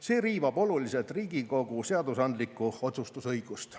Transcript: See riivab oluliselt Riigikogu seadusandlikku otsustusõigust.